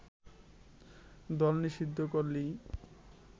দল নিষিদ্ধ করলেই